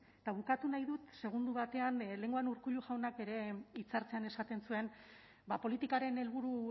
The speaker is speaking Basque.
ez eta bukatu nahi dut segundo batean lehenengoan urkullu jaunak bere hitza hartzean esaten zuen politikaren helburu